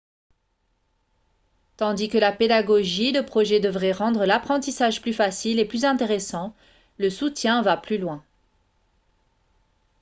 tandis que la pédagogie de projet devrait rendre l'apprentissage plus facile et plus intéressant le soutien va plus loin